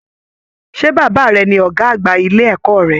Ṣe bàbá rẹ̀ ní ọgá àgbà ilé ẹ̀kọ́ rẹ?